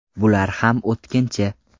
Bular ham o‘tkinchi.